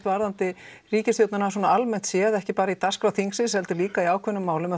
varðandi ríkisstjórnina almennt séð ekki bara í dagskrá þingsins heldur líka í ákveðnum málum